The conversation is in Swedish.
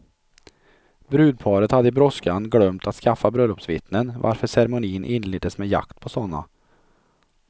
Brudparet hade i brådskan glömt att skaffa bröllopsvittnen, varför ceremonin inleddes med jakt på sådana.